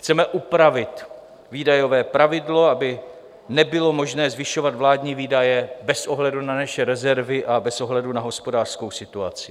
Chceme upravit výdajové pravidlo, aby nebylo možné zvyšovat vládní výdaje bez ohledu na naše rezervy a bez ohledu na hospodářskou situaci.